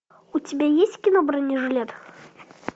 у тебя есть кино бронежилет